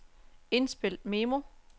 indspil memo